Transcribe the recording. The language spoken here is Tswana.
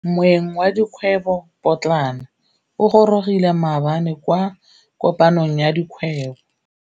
Moêng wa dikgwêbô pôtlana o gorogile maabane kwa kopanong ya dikgwêbô.